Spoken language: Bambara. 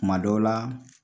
Kuma dɔw la